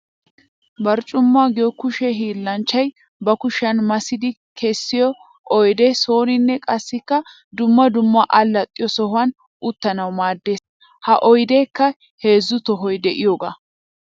Barccuma giyo kushe hiillanchchay ba kushiyan massiddi kessiyo oydde sooninne qassikka dumma dumma alaxxiyo sohuwan uttanawu maadees. Ha oyddekka heezzu tohoy de'iyooga.